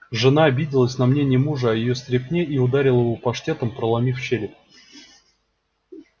жена обиделась на мнение мужа о её стряпне и ударила его паштетом проломив череп